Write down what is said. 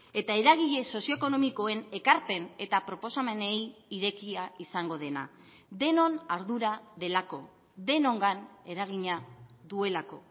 eta eragile sozio ekonomikoen ekarpen eta proposamenei irekia izango dena denon ardura delako denongan eragina duelako